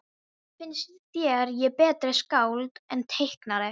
Finnst þér ég betra skáld en teiknari?